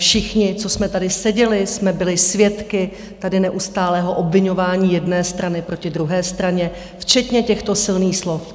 Všichni, co jsme tady seděli, jsme byli svědky tady neustálého obviňování jedné strany proti druhé straně, včetně těchto silných slov.